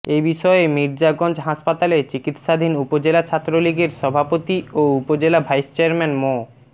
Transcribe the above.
এ বিষয়ে মির্জাগঞ্জ হাসপাতালে চিকিৎসাধীন উপজেলা ছাত্রলীগের সভাপতি ও উপজেলা ভাইস চেয়ারম্যান মো